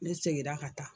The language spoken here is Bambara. Ne seginna ka taa